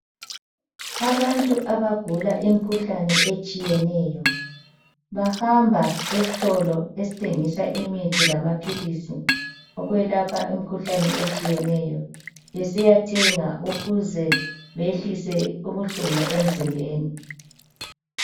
Abantu abagula imikhuhlane etshiyeneyo, bahamba esitolo esithengisa imithi lamaphilisi okwelapha imikhuhlane etshiyeneyo besiyathenga ukuze behlise ubuhlungu emzimbeni.